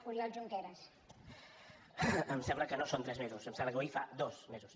em sembla que no són tres mesos em sembla que avui fa dos mesos